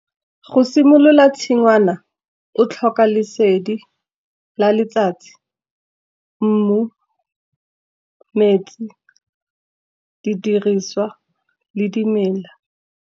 Go simolola tshingwana o tlhoka lesedi la letsatsi, mmu, metsi, didiriswa le dimela.